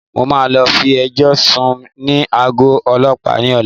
Mo máa lọ fi ẹjọ́ sùn ní àgọ́ Ọlọ́pàá ni ọ̀la.